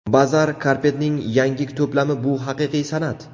Bazaar Carpet’ning yangi to‘plami bu haqiqiy san’at.